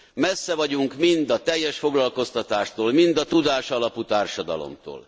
Messze vagyunk mind a teljes foglalkoztatástól, mind a tudásalapú társadalomtól.